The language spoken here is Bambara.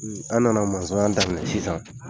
An nana daminɛ sisan